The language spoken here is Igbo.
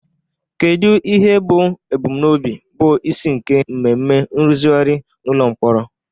Kedu ihe bụ ebumnobi bụ isi nke mmemme nrụzigharị n'ụlọ mkpọrọ?